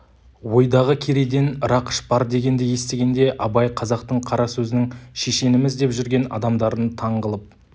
ойдағы керейден рақыш бар дегенді естігенде абай қазақтың қара сөзінің шешеніміз деп жүрген адамдарын таң қылып